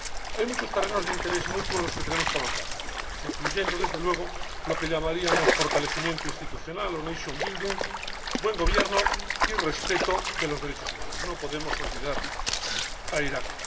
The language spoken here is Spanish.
Hay muchos ámbitos de interés mutuo en los que tenemos que avanzar, incluyendo, desde luego, lo que llamaríamos fortalecimiento institucional o nation building buen gobierno y respeto de los derechos humanos. No podemos olvidar a Irak.